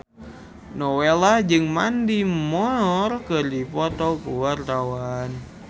Nowela jeung Mandy Moore keur dipoto ku wartawan